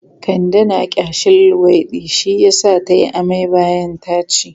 Kande na ƙyashin luwaiɗi shi yasa ta yi amai bayan ta ci.